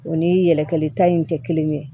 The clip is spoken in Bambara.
O ni yɛlɛta in tɛ kelen ye